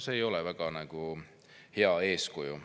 See ei ole väga hea eeskuju.